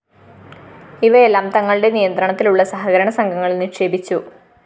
ഇവയെല്ലാം തങ്ങളുടെ നിയന്ത്രണത്തിലുളള സഹകരണ സംഘങ്ങളില്‍ നിക്ഷേപിച്ചു